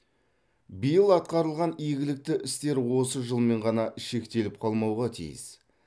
биыл атқарылған игілікті істер осы жылмен ғана шектеліп қалмауға тиіс